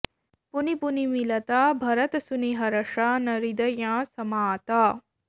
पुनि पुनि मिलत भरत सुनि हरष न हृदयँ समात